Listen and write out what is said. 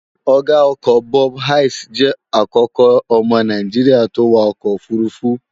Ọ̀ga ọkọ̀ Bob Hayes jẹ́ àkọ́kọ́ ọmọ naijiria tó wa ọkọ̀ òfurufú